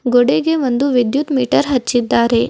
ಗುಡಿಗೆ ಒಂದು ವಿದ್ಯುತ್ ಮೀಟರ್ ಹಚ್ಚಿದ್ದಾರೆ.